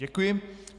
Děkuji.